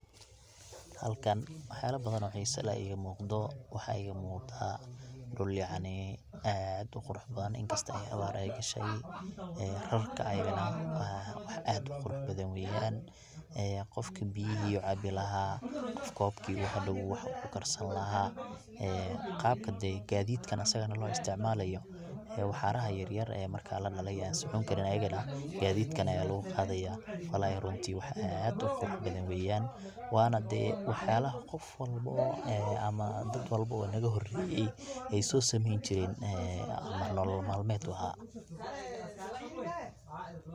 Halkan wax yala badan oo xiisa leh aya iga muqdaa, waxa iga muqda dhul yacni aad uqurux badan inkastoo abaar ay gashay ee rarka ayadana wax aad uqurux badan weeyan ee qofkii biyihi u caabi lahaa ,kobkuu hadhow wax kukarsan lahaa ee qabka dee gaadidka asagana loo isticmaalayo ee waxaaraha yar yar ee marka la dhalay ee an socon karin ayagana gaadidkan aya lugu qaada, wallahi runtii wax aad uqurux badan weyan wana dee wax yalaha qof walbo oo ama dad walbo naga horeeye ay soo sameeyn jiren ee ama nolol malmeed u aha.